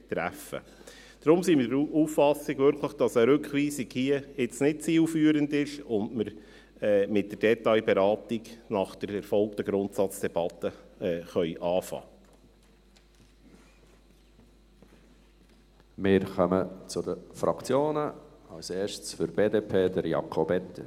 Deshalb sind wir wirklich der Auffassung, dass eine Rückweisung hier nun nicht zielführend ist und wir nach erfolgter Grundsatzdebatte mit der Detailberatung beginnen können.